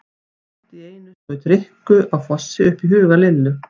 Allt í einu skaut Rikku á Fossi upp í huga Lillu.